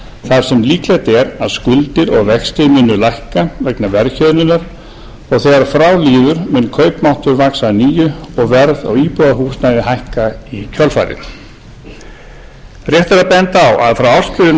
þar sem líklegt er að skuldir og vextir muni lækka vegna verðhjöðnunar og þegar frá líður mun kaupmáttur vaxa að nýju og verð á íbúðarhúsnæði hækka í kjölfarið rétt er að benda á að frá ársbyrjun tvö